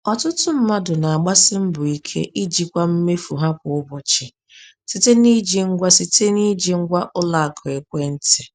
Ọtụtụ mmadụ na-agbasi mbọ ike ijikwa mmefu ha kwa ụbọchị site n’iji ngwa site n’iji ngwa ụlọ akụ ekwentị.